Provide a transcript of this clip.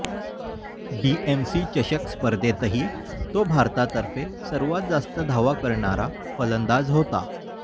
DMC चषक स्पर्धेतही तो भारतातर्फे सर्वात जास्त धावा करणारा फलंदाज होता